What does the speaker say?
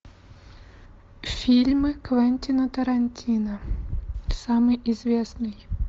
фильмы квентина тарантино самый известный